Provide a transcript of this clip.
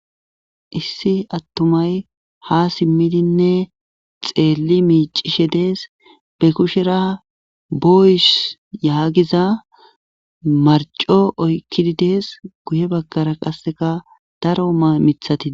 issi attumay ha simmidinne xeelli miicishe dees be kushera boyis yaagiza marco oykkididees guye baggara qasseka daro mamithati